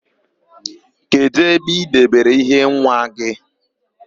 Kedụ ebe i debere íhé nwa gị?